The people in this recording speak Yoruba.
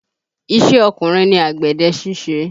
Ìṣe ọkùnrin ni àgbẹ̀dẹ ṣíṣe